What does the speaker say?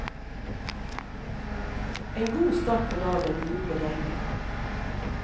En god start på dagen, jubler gjengen.